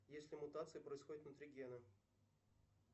если мутация происходит внутри гена